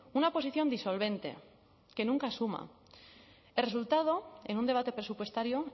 una posición disolvente que nunca suma el resultado en un debate presupuestario